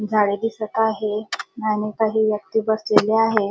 झाडे दिसत आहे आणि काही व्यक्ति बसलेले आहे.